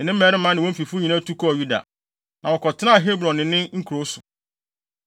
ne ne mmarima ne wɔn fifo nyinaa tu kɔɔ Yuda, na wɔkɔtenaa Hebron ne ne nkurow so.